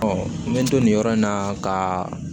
n bɛ to nin yɔrɔ in na ka